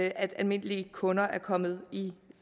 almindelige kunder er kommet i